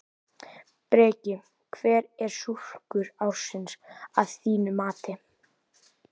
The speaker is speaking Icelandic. Breki: Hver er skúrkur ársins að þínu mati?